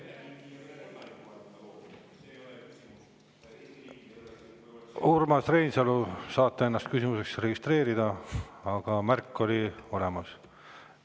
Urmas Reinsalu, saate ennast küsimuseks registreerida, aga praegu on märk olemas.